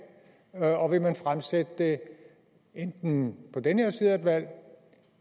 og og vil man fremsætte det enten på den her side af et valg